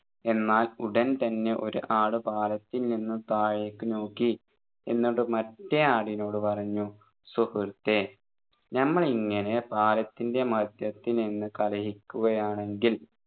എന്നാൽ ഉടൻ തന്നെ ഒരു ആട് പാലത്തിൽ നിന്ന് താഴേക്കു നോക്കി എന്നിട്ട് മറ്റേ ആടിനോട് പറഞ്ഞു സുഹൃത്തേ നമ്മളിങ്ങനെ പാലത്തിൻെറ മധ്യത്തിൽ നിന്ന് കലഹിക്കുകയാണെങ്കിൽ